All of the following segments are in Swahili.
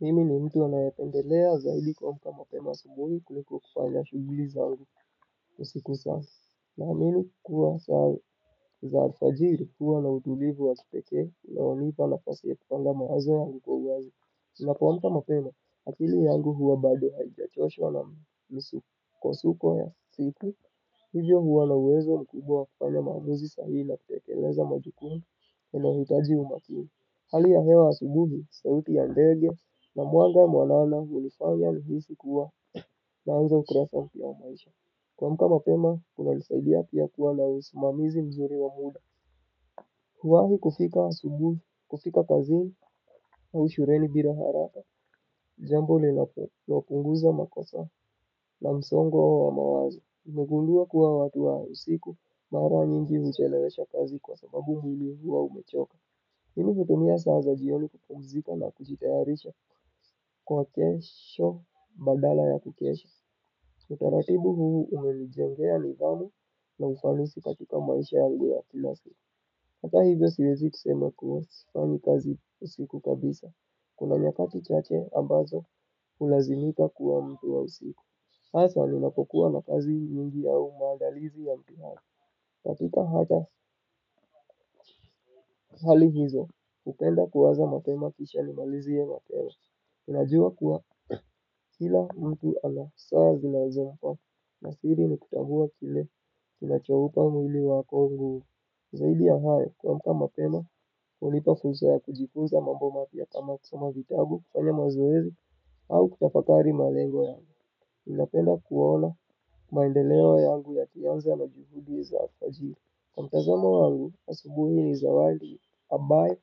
Mimi ni mtu anayependelea zaidi kuamka mapema asubuhi kuliko kufanya shuguli zangu usiku sasa. Naamini kuwa saa za alfajiri huwa na utulivu wa kipekee na unipa nafasi ya kupanga mawazo yangu kwa uwazi. Na kuamka mapema, akili yangu huwa bado haijachoshwa na misukosuko ya siku. Hiyo huwa na uwezo mkubwa wa kufanya maamuzi sahihi na kutekeleza majukumu inayohitaji umakini. Hali ya hewa asubuhi, sauti ya ndege, na mwanga mwanana hunifanya nihisi kuwa, naanza ukurasa mpya wa maisha. Kuamka mapema, kunanisaidia pia kuwa na usimamizi mzuri wa muda. Kuwahi kufika asubuhi, kufika kazini, au shureni bira haraka. Jambo lilaku, la punguza makosa, na msongo wa mawazo. Nimegundua kuwa watu wa usiku, mara nyingi uchelewesha kazi kwa sababu mwili huwa umechoka. Mimi kutumia saa za jioni kupumzika na kujitayarisha kwa kesho badala ya kukesha. Utaratibu huu umenijengea nidhamu na ufanisi katika maisha yangu ya kila siku. Hata hivyo siwezi kusema kuwa sifanyi kazi usiku kabisa. Kuna nyakati chache ambazo ulazimika kuwa mtu wa usiku. Aswa ninapokuwa na kazi nyingi yao maadalizi ya mpihala. Katika hatya hali hizo, upenda kuanza mapema kisha nimaliziye mapema, ninajua kuwa kila mtu ana saa zinazomfaa, na siri ni kutambua kile, kinachoupa mwili wako nguvu, zaidi ya hayo kuamka mapema, hunipa fursa ya kujifunza mambo mapya kama kusoma vitabu, kufanya mazoezi, au kutafakari malego yangu, ninapenda kuona maendeleo yangu yakianza na juhudi za alfajiri, kwa mtazamo wangu, asubuhi ni zawadi, ambaye,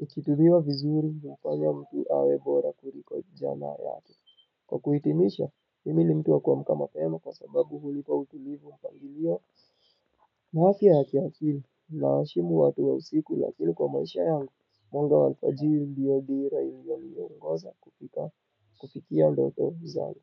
ukitumiwa vizuri inafanya mtu awe bora kuliko jana yake. Kwa kuhitimisha, mimi ni mtu wa kuamka mapema kwa sababu hunipa utulivu mpangilio, na afya ya kiakili, nawaheshimu watu wa usiku, lakini kwa maisha yangu, mwanga wa alfajiri ndiyo dira iliyo niyongoza kufika, kufikia ndoto zangu.